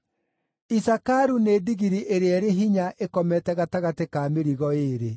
“Isakaru nĩ ndigiri ĩrĩa ĩrĩ hinya ĩkomete gatagatĩ ka mĩrigo ĩĩrĩ.